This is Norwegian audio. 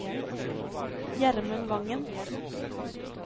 Gjermund Vangen